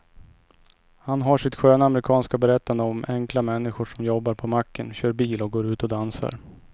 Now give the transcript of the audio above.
Han har sitt sköna amerikanska berättande om enkla människor som jobbar på macken, kör bil och går ut och dansar.